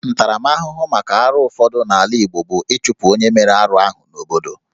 Ntaramahụhụ maka arụ ụfọdụ n'ala Igbo bụ ịchụpụ onye mere arụ ahụ n'obodo